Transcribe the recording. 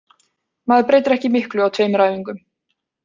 Maður breytir ekki miklu á tveimur æfingum.